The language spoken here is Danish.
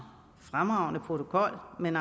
fremragende protokol men